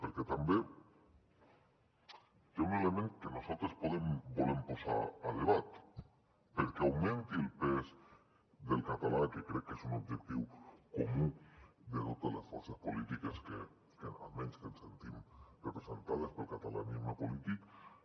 perquè també hi ha un element que nosaltres volem posar a debat perquè augmenti el pes del català que crec que és un objectiu comú de totes les forces polítiques almenys que ens sentim representades pel catalanisme polític